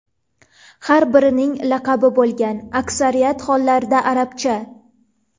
Har birining laqabi bo‘lgan , aksariyat hollarda arabcha.